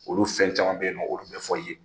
Olu fɛn caman be yen nɔn olu bɛ fɔ i ye